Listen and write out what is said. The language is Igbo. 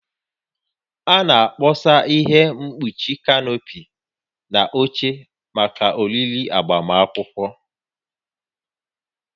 A na-akpọsa ihe mkpuchi kanopi na oche maka oriri agbamunkwụ